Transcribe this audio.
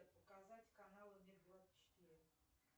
показать каналы мир двадцать четыре